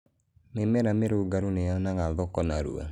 mĩmera mĩrũngarũ nĩ yonaga thoko narua